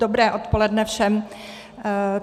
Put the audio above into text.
Dobré odpoledne všem.